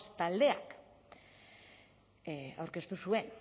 taldeak